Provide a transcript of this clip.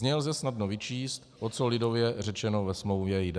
Z ní lze snadno vyčíst, o co lidově řečeno ve smlouvě jde.